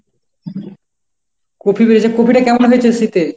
Copy বেরিয়েছে, কপিটা কেমন হয়েছে শীতে?